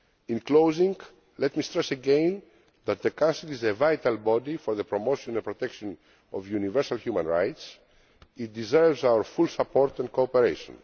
In closing, let me stress again that the Council is a vital body for the promotion and protection of universal human rights it deserves our full support and cooperation.